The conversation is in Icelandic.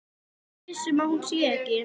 Ertu viss um að hún sé ekki.